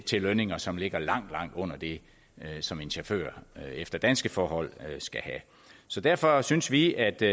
til lønninger som ligger langt langt under det som en chauffør efter danske forhold skal have så derfor synes vi at det